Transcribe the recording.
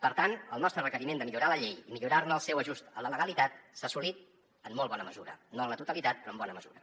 per tant el nostre requeriment de millorar la llei i millorar ne el seu ajust a la legalitat s’ha assolit en molt bona mesura no en la totalitat però en bona mesura